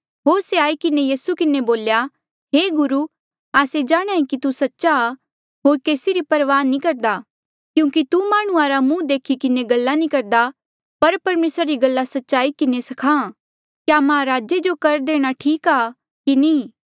होर से आई किन्हें यीसू किन्हें बोल्या हे गुरू आस्से जाण्हां ऐें कि तू सच्चा आ होर केसी री परवाह नी करदा क्यूंकि तू माह्णुं रा मुहं देखी किन्हें गल्ला नी करदा पर परमेसरा री गल्ला सच्चाई किन्हें स्खाहां क्या महाराजे जो कर देणा ठीक आ कि नी